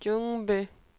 Ljungby